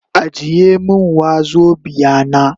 Ajiye min wazobia na.